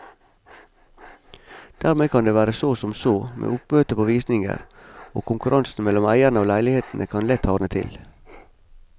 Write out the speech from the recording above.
Dermed kan det være så som så med oppmøtet på visninger, og konkurransen mellom eierne av leilighetene kan lett hardne til.